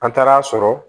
An taara'a sɔrɔ